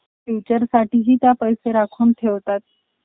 future साठी त्या पैसे राखून ठेवतात.